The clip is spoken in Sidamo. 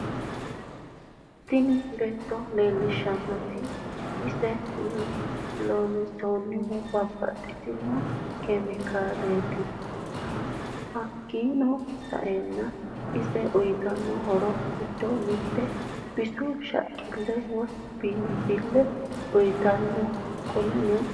Tini bisu looshshineeti ise loonsonihu babaxitino kimikaliniti hakiino sa'eena ise uyitano horro giddo mitte bisu shaqille woyi biinfille uyitano qoleno ..